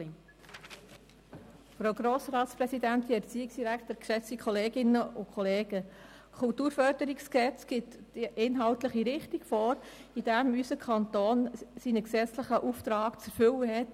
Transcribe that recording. Das KKFG gibt die inhaltliche Richtung vor, wie unser Kanton seinen gesetzlichen Auftrag zu erfüllen hat.